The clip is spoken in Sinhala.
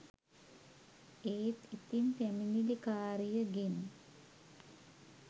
ඒත් ඉතින් පැමිණිලිකාරියගෙන්